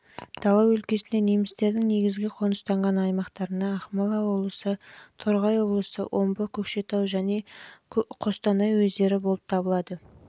дала өлкесінде немістердің негізгі қоныстанған аймақтарына ақмола облысы торғай облысы омбы көкшетау және қостанай уездері болып табылады